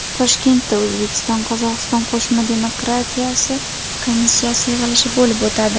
Toshkentda O‘zbekiston Qozog‘iston qo‘shma demarkatsiya komissiyasi yig‘ilishi bo‘lib o‘tadi.